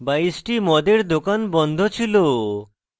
22 টি মদের দোকান বন্ধ ছিল